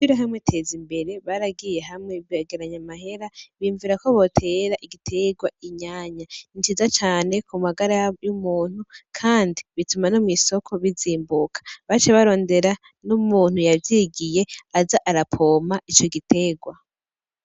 Ishirahamwe ryo kwiteza imbere baragiye hamwe begeranya amahera biyumvira ko botera igitegwa inyanya, ni ciza cane ku magara y'umuntu kandi bituma no mw'isoko bizimbuka baciye barondera n'umuntu yavyigiye aza arapompa ico gitegwa.